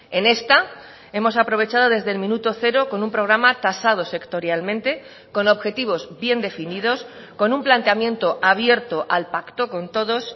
en esta hemos aprovechado desde el minuto cero con un programa tasado sectorialmente con objetivos bien definidos con un planteamiento abierto al pacto con todos